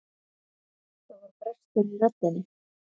Það var brestur í röddinni.